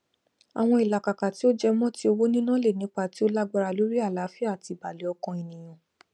àwọn ìlàkàkà tí ó jẹ mọ ti owó níná lè nípa tí ó lágbára lórí àlááfíà àti ìbàlẹ ọkàn ènìyàn